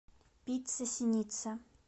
пицца синица